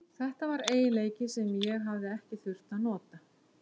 Þetta var eiginleiki sem ég hafði ekki þurft að nota.